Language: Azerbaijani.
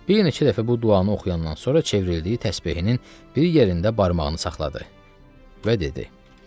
Bir neçə dəfə bu duanı oxuyandan sonra çevrildi təsbehinin bir yerində barmağını saxladı və dedi: